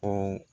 Ko